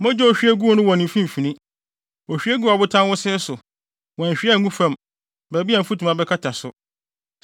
“ ‘Mogya a ohwie guu no wɔ ne mfimfini: ohwie guu ɔbotan wosee so; wanhwie angu fam, baabi a mfutuma bɛkata so.